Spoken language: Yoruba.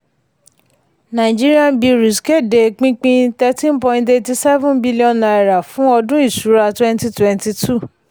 nigerian breweries kéde pínpín thirteen point eighty seven billion naira fún ọdún ìṣúra twenty twenty two.